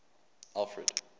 alfred